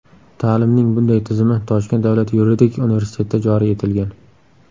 Ta’limning bunday tizimi Toshkent davlat yuridik universitetida joriy etilgan.